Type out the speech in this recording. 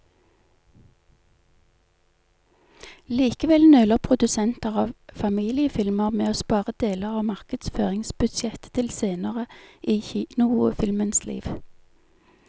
Likevel nøler produsenter av familiefilmer med å spare deler av markedsføringsbudsjettet til senere i kinofilmens liv.